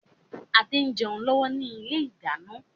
Adé ń jẹun lọ́wọ́ ni ilé ìdáná.